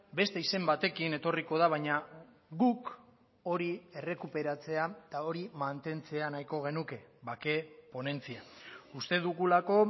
beste izen batekin etorriko da baina guk hori errekuperatzea eta hori mantentzea nahiko genuke bake ponentzia uste dugulako